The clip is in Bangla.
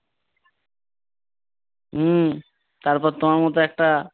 উম তারপর তোমার মতো একটা